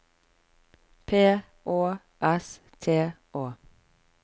P Å S T Å